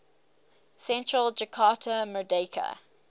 central jakarta merdeka